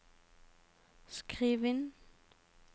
skriv inn